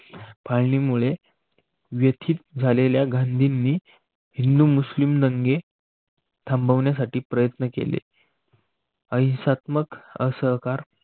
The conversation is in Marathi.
फाळणीमुळे व्यथिक झालेल्या गांधींनी हिंदू मुस्लिम दंगे थांबवण्यासाठी प्रयत्न केले. अहिंसात्मक, असहकार